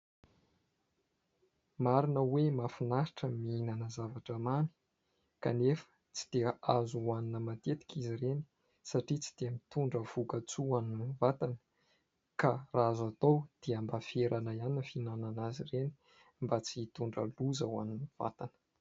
Marina hoe mahafinaritra mihinana zavatra mamy ; kanefa tsy dia azo hohanina matetika izy ireny satria tsy dia mitondra voka-tsoa an'ny vatana. Ka raha azo atao dia mba ferana ihany ny fihinanana azy ireny mba tsy hitondra loza ho an'ny vatana.